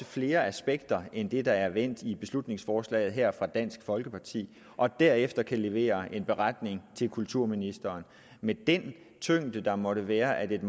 flere aspekter end det der er vendt i beslutningsforslaget her fra dansk folkeparti og derefter kan levere en beretning til kulturministeren med den tyngde der måtte være at et